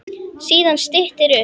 Síðan styttir upp.